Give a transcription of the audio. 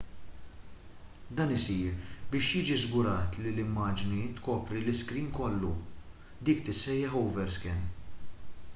dan isir biex jiġi żgurat li l-immaġni tkopri l-iskrin kollu dik tissejjaħ overscan